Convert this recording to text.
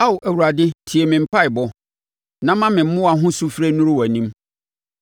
Ao Awurade tie me mpaeɛbɔ; na ma me mmoa ho sufrɛ nnuru wʼanim.